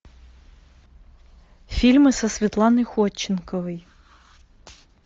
фильмы со светланой ходченковой